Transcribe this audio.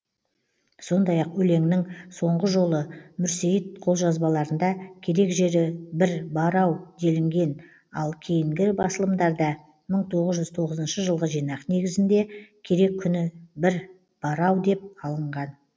сондай ақ өлеңнің соңғы жолы мүрсейіт қолжазбаларында керек жері бір бар ау делінген ал кейінгі басылымдарда мың тоғыз жүз тоғызыншы жылғы жинақ негізінде керек күні бір бар ау деп алынған